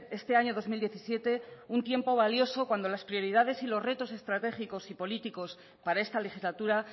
este año dos mil diecisiete un tiempo valioso cuando las prioridades y los retos estratégicos y políticos para esta legislatura